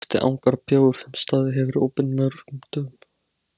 Loftið angar af bjór sem staðið hefur opinn dögum saman.